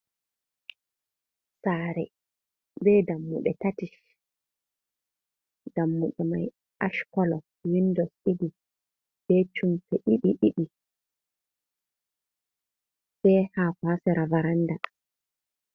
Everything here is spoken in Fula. Sare, be ɗammuɗe tati. Dammyɗe mai ash kolo. Winɗo ɗiɗi be cumfuɗe ɗiɗi-ɗiɗi. Be hako ha sera varanɗa.